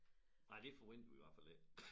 Nej forventer vi i hvert fald ikke